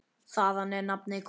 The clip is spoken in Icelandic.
Þaðan er nafnið komið.